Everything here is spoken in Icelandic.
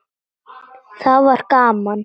Þá var gaman.